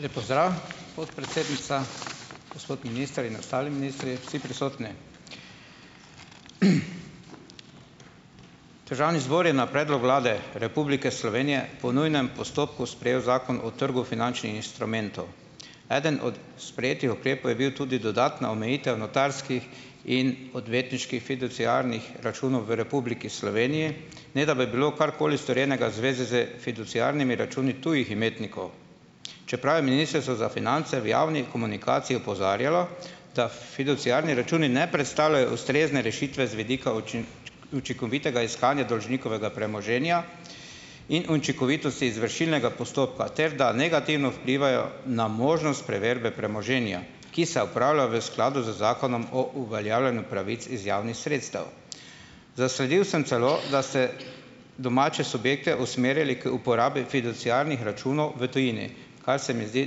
Lep pozdrav, podpredsednica. Gospod minister in ostali ministri, vsi prisotni! Državni zbor je na predlog Vlade Republike Slovenije po nujnem postopku sprejel zakon o trgu finančnih instrumentov. Eden od sprejetih ukrepov je bil tudi dodatna omejitev notarskih in odvetniških fiduciarnih računov v Republiki Sloveniji, ne da bi bilo karkoli storjenega zvezi s fiduciarnimi računi tujih imetnikov, čeprav je Ministrstvo za finance v javni komunikaciji opozarjalo, da fiduciarni računi ne prestavljajo ustrezne rešitve z vidika učinkovitega iskanja dolžnikovega premoženja in učinkovitosti izvršilnega postopka ter da negativno vplivajo na možnost preverbe premoženja, ki se opravlja v skladu z Zakonom o uveljavljanju pravic iz javnih sredstev. Zasledil sem celo, da so domače subjekte usmerili k uporabi fiduciarnih računov v tujini, kar se mi zdi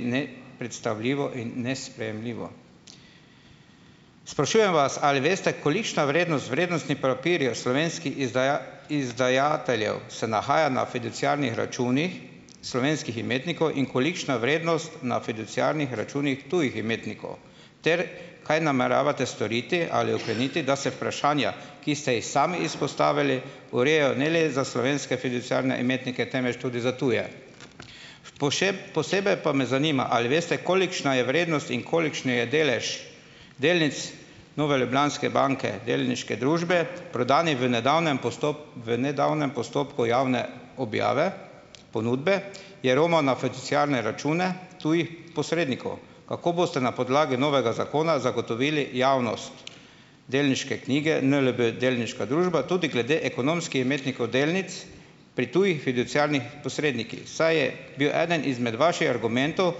nepredstavljivo in nesprejemljivo. Sprašujem vas: Ali veste, kolikšna vrednost vrednostnih papirjev slovenskih izdajateljev se nahaja na fiduciarnih računih slovenskih imetnikov in kolikšna vrednost na fiduciarnih računih tujih imetnikov? Ter kaj nameravate storiti ali okreniti, da se vprašanja, ki ste jih sami izpostavili, urejajo ne le za slovenske fiduciarne imetnike, temveč tudi za tuje. posebej pa me zanimam, ali veste, kolikšna je vrednost in kolikšen je delež delnic Nove Ljubljanske banke, delniške družbe, prodan v nedavnem v nedavnem postopku javne objave, ponudbe, je romal na fiduciarne račune tujih posrednikov. Kako boste na podlagi novega zakona zagotovili javnost delniške knjige NLB, delniška družba, tudi glede ekonomskih imetnikov delnic pri tujih fiduciarnih posrednikih, saj je bil eden izmed vaših argumentov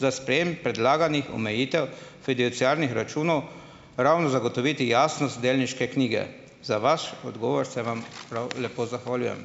za sprejem predlaganih omejitev fiduciarnih računov ravno zagotoviti jasnost delniške knjige. Za vaš odgovor se vam prav lepo zahvaljujem.